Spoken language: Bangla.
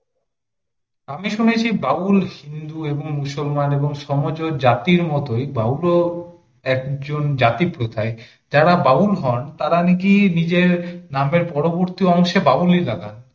আমি শুনেছি বাউল হিন্দু এবং মুসলমান এবং সমজ জাতির মতই বাউল ও একজন জাতি প্রথাই যারা বাউল হন তারা নাকি নিজের নামের পরবর্তী অংশে বাউল ই লাগান।